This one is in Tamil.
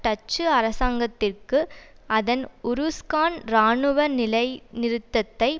டச்சு அரசாங்கத்திற்கு அதன் உருஸ்கான் இராணுவ நிலைநிறுத்தத்தை